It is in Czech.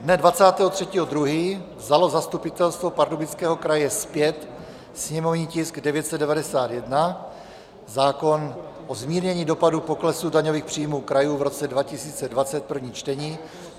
Dne 23. 2. vzalo Zastupitelstvo Pardubického kraje zpět sněmovní tisk 991, zákon o zmírnění dopadu poklesu daňových příjmů krajů v roce 2020, první čtení.